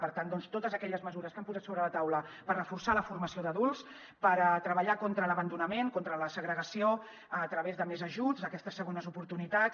per tant doncs totes aquelles mesures que han posat sobre la taula per reforçar la formació d’adults per treballar contra l’abandonament contra la segregació a través de més ajuts d’aquestes segones oportunitats